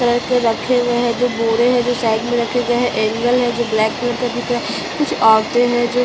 करके रखे हुए हैं दो बोरे है जो साइड में रखे गए हैं एंगल है जो ब्लैक कलर का दिख रहा है कुछ औरते है जो --